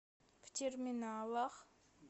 в терминалах